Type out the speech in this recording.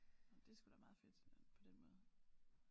Nåh men det er sgu da meget fedt at på den måde